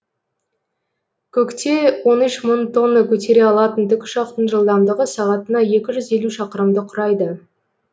көкте он үш мың тонна көтере алатын тікұшақтың жылдамдығы сағатына екі жүз елу шақырымды құрайды